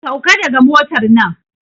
Sauka daga motar nan!